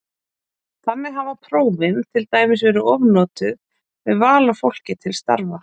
Þannig hafa prófin til dæmis verið ofnotuð við val á fólki til starfa.